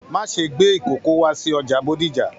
Má ṣe gbé ìkoko wá sí ọjà Bódìjà!